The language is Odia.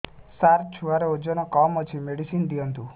ସାର ଛୁଆର ଓଜନ କମ ଅଛି ମେଡିସିନ ଦିଅନ୍ତୁ